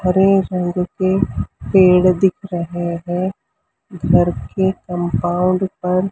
हरे रंग के पेड़ दिख रहे हैं घर के कंपाउंड पर--